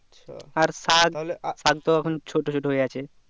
আর শাক শাক তো এখন ছোট ছোট আছে